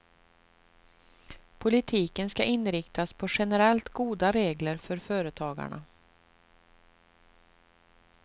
Politiken ska inriktas på generellt goda regler för företagarna.